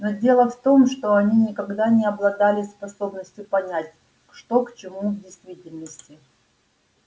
но дело в том что они никогда не обладали способностью понять что к чему в действительности